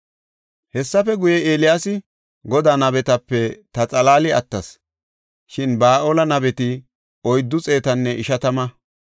Hessafe guye, Eeliyaasi, “Godaa nabetape ta xalaali attas; shin Ba7aale nabeti oyddu xeetanne ishatama.